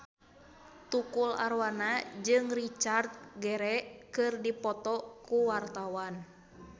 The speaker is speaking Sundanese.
Tukul Arwana jeung Richard Gere keur dipoto ku wartawan